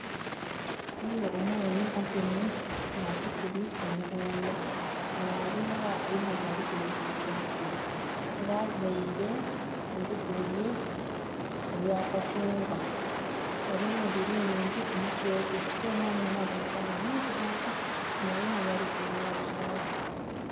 Ghaligho omwami atyaime nga atukubye omugongo nga alinga alinha byali kuloghozaku nga availe olugoye olwa kacungwa nga alinha enviri nhingi kumutwe gwe era omwami onho abonheka nga mwirugavu ng' alinha byali kuloghozaku.